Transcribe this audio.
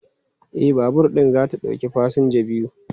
E, babur ɗin za ta ɗauki fasinja biyu.